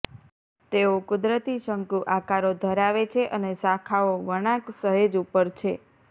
તેઓ કુદરતી શંકુ આકારો ધરાવે છે અને શાખાઓ વળાંક સહેજ ઉપર છે